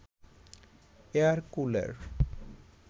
air cooler